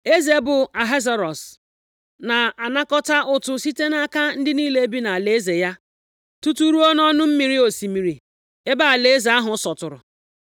Eze bụ Ahasuerọs na-anakọta ụtụ site nʼaka ndị niile bi nʼalaeze ya tutu ruo nʼọnụ mmiri osimiri ebe alaeze ahụ sọtụrụ.